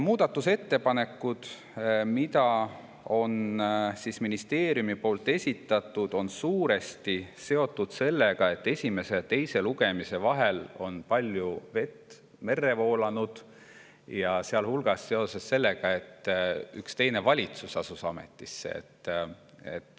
Muudatusettepanekud, mis on ministeeriumi poolt esitatud, on suuresti seotud sellega, et esimese ja teise lugemise vahel on palju vett merre voolanud, sealhulgas seoses sellega, et üks teine valitsus asus ametisse.